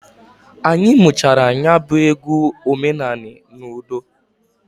Anyị muchara nya bụ egwu omenanị n'udo.